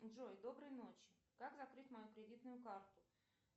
джой доброй ночи как закрыть мою кредитную карту